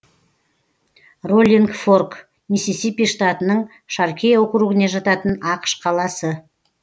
роллинг форк миссисипи штатының шаркей округіне жататын ақш қаласы